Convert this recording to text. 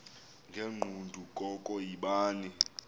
ngegqudu koko yibani